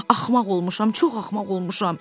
mən axmaq olmuşam, çox axmaq olmuşam.